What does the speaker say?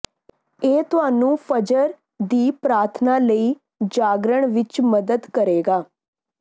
ਇਹ ਤੁਹਾਨੂੰ ਫਜਰ ਦੀ ਪ੍ਰਾਰਥਨਾ ਲਈ ਜਾਗਣ ਵਿਚ ਮਦਦ ਕਰੇਗਾ